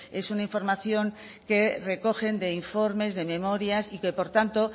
es una información que recogen de informes de memorias y que por tanto